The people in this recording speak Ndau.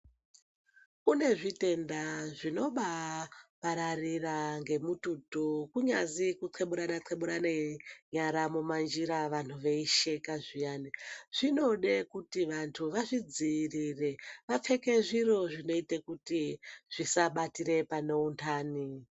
Kune zvitenda zvinobaapararira ngemututu kunyazi kunxeburana-nxeburana nyara, mumanjira vantu veyisheka zviyani, zvinode kuti vantu vazvidziyirire, vapfeke zviro zvinoyite kuti zvisabatire pane untani.